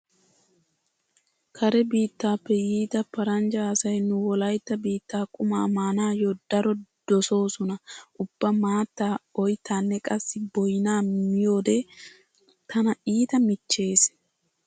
Kare biittappe yiida paranjja asay nu wolaytta biittaa qumaa maanaayyo daro dosoosona. Ubba maattaa, oyttaanne qassi boynaa miyode tana iita miichchees.